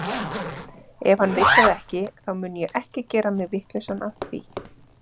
Ef hann vill það ekki, þá mun ég ekki gera mig vitlausan af því.